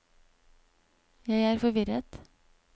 jeg er forvirret